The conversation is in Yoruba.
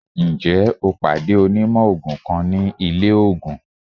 Njẹ o pade onimò oogun kan ni ile oogùn?